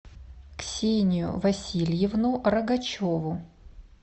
ксению васильевну рогачеву